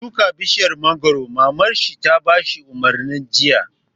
Ka shuka bishiyar mangoro! Mamar shi ta bashi umarni jiya